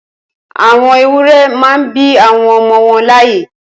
Awọn éwùrẹ̀ mà n bi awọn ọmọ wọn làáyẹ́